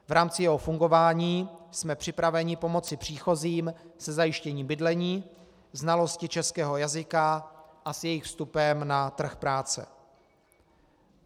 V rámci jeho fungování jsme připraveni pomoci příchozím se zajištěním bydlení, znalosti českého jazyka a s jejich vstupem na trh práce.